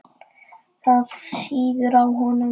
Það sýður á honum.